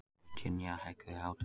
Virginía, hækkaðu í hátalaranum.